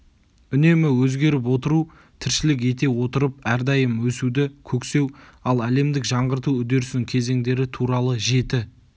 үнемі өзгеріп отыру тіршілік ете отырып әрдайым өсуді көксеу ал әлемдік жаңғырту үдерісінің кезеңдері туралы жеті